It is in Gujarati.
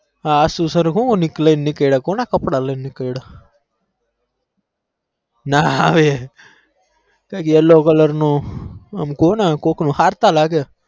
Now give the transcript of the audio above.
હ શું sir લઇ ને નીકળયા કોના કપડા લઇ ને નીકળયા ના have કૈક yellow કઈ ક હરતા લાગે